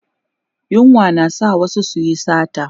yunwa na sa wasu su Yi sata